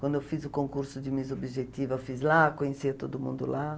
Quando eu fiz o concurso de Miss Objetiva, eu fiz lá, conheci todo mundo lá.